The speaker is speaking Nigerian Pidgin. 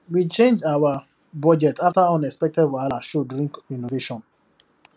we change our budget after unexpected wahala show during renovation